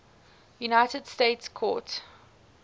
united states court